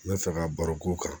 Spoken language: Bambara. N bɛ fɛ ka baro k'o kan